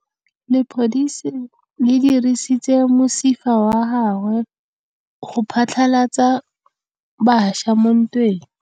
Lepodisa le dirisitse mosifa wa gagwe go phatlalatsa batšha mo ntweng.